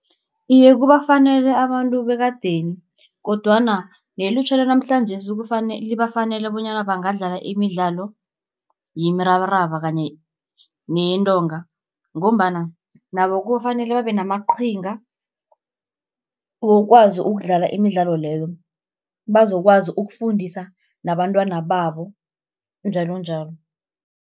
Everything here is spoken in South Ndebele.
Iye kubafanele abantu bekadeni, kodwana nelutjha lanamhlanjesi libafanele bonyana bangadlala imidlalo yemirabaraba kanye neyentonga, ngombana nabo kufanele babe namaqhinga wokwazi ukudlala imidlalo leyo. Bazokwazi ukufundisa nabantwana babo njalonjalo.